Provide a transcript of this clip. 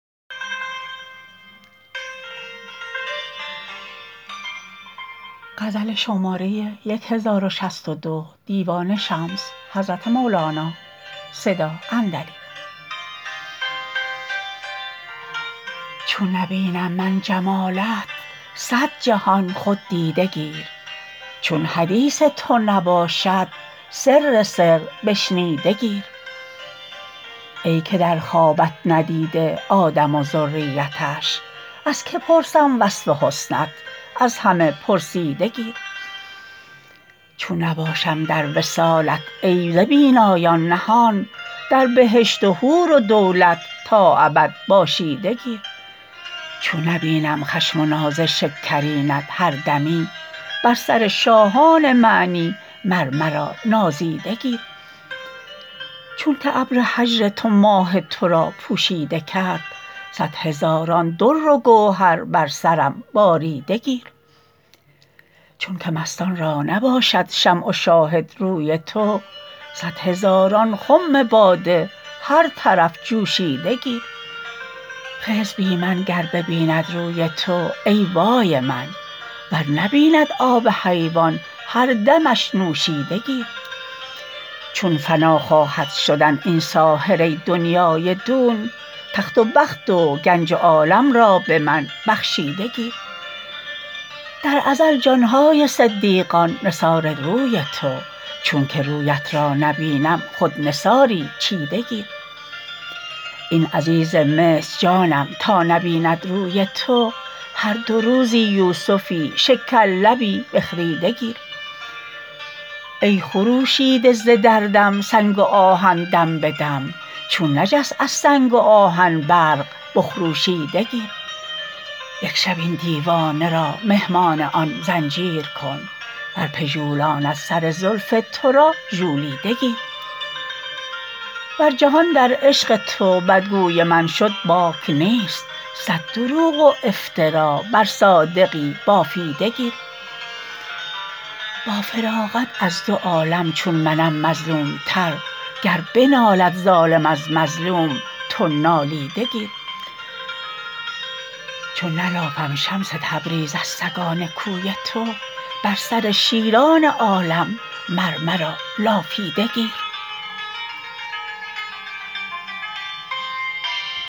چون نبینم من جمالت صد جهان خود دیده گیر چون حدیث تو نباشد سر سر بشنیده گیر ای که در خوابت ندیده آدم و ذریتش از کی پرسم وصف حسنت از همه پرسیده گیر چون نباشم در وصالت ای ز بینایان نهان در بهشت و حور و دولت تا ابد باشیده گیر چون نبینم خشم و ناز شکرینت هر دمی بر سر شاهان معنی مر مرا نازیده گیر چونک ابر هجر تو ماه تو را پوشیده کرد صد هزاران در و گوهر بر سرم باریده گیر چونک مستان را نباشد شمع و شاهد روی تو صد هزاران خم باده هر طرف جوشیده گیر خضر بی من گر ببیند روی تو ای وای من ور نبیند آب حیوان هر دمش نوشیده گیر چون فنا خواهد شدن این ساحره دنیای دون تخت و بخت و گنج و عالم را به من بخشیده گیر در ازل جان های صدیقان نثار روی تو چونک رویت را نبینم خود نثاری چیده گیر این عزیز مصر جانم تا نبیند روی تو هر دو روزی یوسفی شکرلبی بخریده گیر ای خروشیده ز دردم سنگ و آهن دم به دم چون نجست از سنگ و آهن برق بخروشیده گیر یک شب این دیوانه را مهمان آن زنجیر کن ور بژولاند سر زلف تو را ژولیده گیر ور جهان در عشق تو بدگوی من شد باک نیست صد دروغ و افترا بر صادقی بافیده گیر با فراقت از دو عالم چون منم مظلومتر گر بنالد ظالم از مظلوم تو نالیده گیر چون نلافم شمس تبریز از سگان کوی تو بر سر شیران عالم مر مرا لافیده گیر